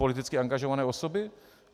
Politicky angažované osoby?